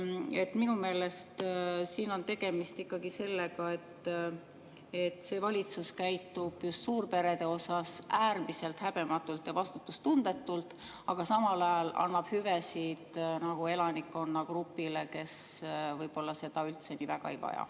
Nii et minu meelest siin on tegemist ikkagi sellega, et see valitsus käitub just suurperedega äärmiselt häbematult ja vastutustundetult, aga samal ajal annab hüvesid elanikkonnagrupile, kes võib-olla neid üldse nii väga ei vaja.